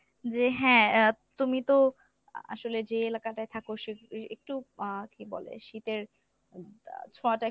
যে হ্যাঁ আহ তুমি তো আ~ আসলে যে এলাকাটায় থাকো সে এ~ একটু আহ কী বলে শীতের ছোঁয়াটা